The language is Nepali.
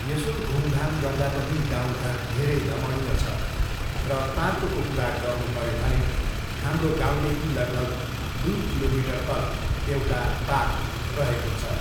यसो घुमघाम गर्दा पनि गाउँ घर धेरै रमणीय छ, र पार्कको कुरा गर्नुपऱ्यो भने हाम्रो गाउँदेखि लगभग दुई किलोमिटर तल एउटा पार्क रहेको छ।